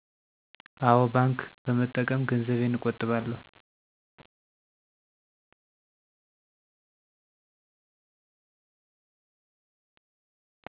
አወ ባንክ በመጠቀም ገንዘቤን እቆጥባለሁ።